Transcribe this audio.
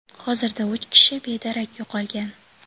hozirda uch kishi bedarak yo‘qolgan.